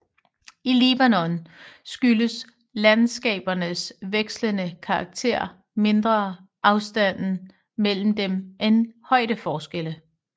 I Libanon skyldes landskabernes vekslende karakter mindre afstanden mellem dem end højdeforskelle